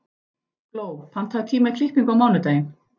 Gló, pantaðu tíma í klippingu á mánudaginn.